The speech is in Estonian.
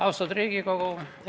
Austatud Riigikogu!